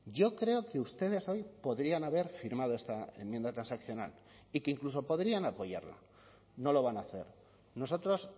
yo creo que ustedes hoy podrían haber firmado esta enmienda transaccional y que incluso podrían apoyarla no lo van a hacer nosotros